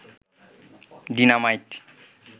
dynamite